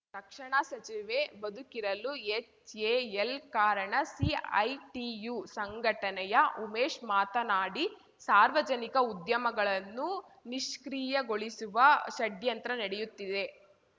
ರಕ್ಷಣಾ ಸಚಿವೆ ಬದುಕಿರಲು ಎಚ್‌ಎಎಲ್‌ ಕಾರಣ ಸಿಐಟಿಯು ಸಂಘಟನೆಯ ಉಮೇಶ್‌ ಮಾತನಾಡಿ ಸಾರ್ವಜನಿಕ ಉದ್ಯಮಗಳನ್ನು ನಿಷ್ಕ್ರಿಯಗೊಳಿಸುವ ಷಡ್ಯಂತ್ರ ನಡೆಯುತ್ತಿದೆ